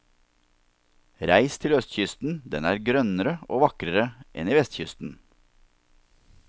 Reis til østkysten, den er grønnere og vakrere enn i vestkysten.